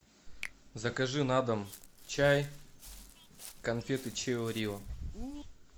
закажи на дом чай конфеты чио рио